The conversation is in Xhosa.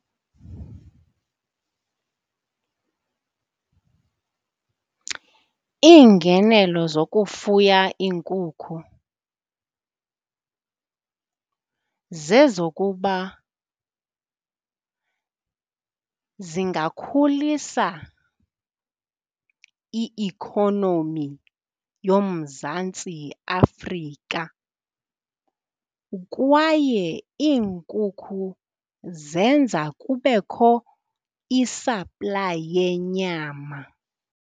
Iingenelo zokufuya iinkukhu zezokuba zingakhulisa i-ikhonomi yoMzantsi Afrika, kwaye iinkukhu zenza kubekho isaplayi yenyama.